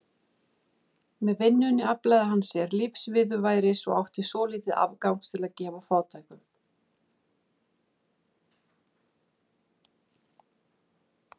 Með vinnunni aflaði hann sér lífsviðurværis og átti svolítið afgangs til að gefa fátækum.